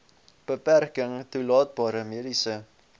beperking toelaatbare mediese